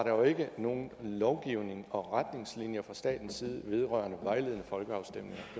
jo ikke var nogen lovgivning og retningslinjer fra statens side vedrørende vejledende folkeafstemninger